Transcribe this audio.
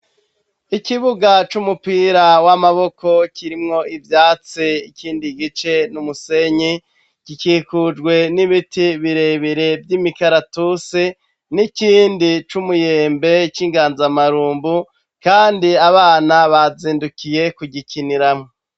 Ikibuga c'umupira w'amaboko kirimwo ivyatsi, ikindi gice n'umusenyi. Gikikujwe n'ibiti birebire vy'imikaratusi, n'ikindi c'umuyembe c'inganzamarumbu, kandi abana bazindukiye kugikiniramo.